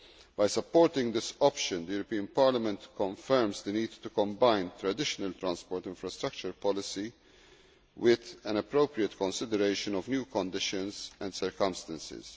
By supporting this option, Parliament confirms the need to combine traditional transport infrastructure policy with an appropriate consideration of new conditions and circumstances